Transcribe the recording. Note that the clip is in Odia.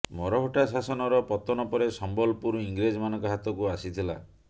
ମରହଟ୍ଟା ଶାସନର ପତନ ପରେ ସମ୍ବଲପୁର ଇଂରେଜମାନଙ୍କ ହାତକୁ ଆସିଥିଲା